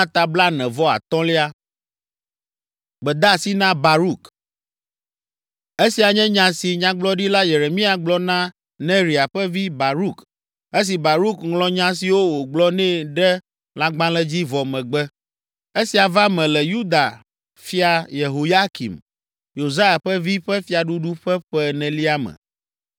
Esia nye nya si Nyagblɔɖila Yeremia gblɔ na Neria ƒe vi, Baruk esi Baruk ŋlɔ nya siwo wògblɔ nɛ ɖe lãgbalẽ dzi vɔ megbe. Esia va me le Yuda fia, Yehoyakim, Yosia ƒe vi ƒe fiaɖuɖu ƒe ƒe enelia me: